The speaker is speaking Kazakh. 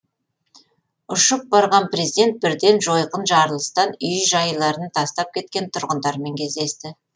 ұшып барған президент бірден жойқын жарылыстан үй жайларын тастап кеткен тұрғындармен кездесті